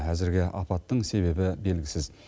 әзірге апаттың себебі белгісіз